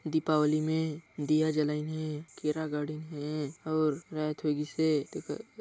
दीपावली में दिया जलाईन हे केरा गाड़िन हे अउर रात होई गिस हे तेकर --